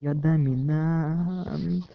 я доминант